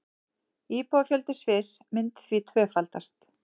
Íbúafjöldi Sviss myndi því tvöfaldast